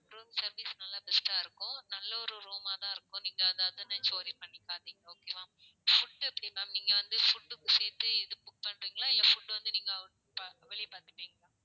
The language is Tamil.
room service நல்ல best டா இருக்கும். நல்ல ஒரு room ஆ தான் இருக்கும். நீங்க அதை அதை நினைச்சு worry பண்ணிக்காதீங்க okay வா? food எப்படி ma'am நீங்க வந்து food க்கும் சேர்த்து இது book பண்றீங்களா இல்ல food வந்து out அ வெளிய பாத்துப்பீங்களா?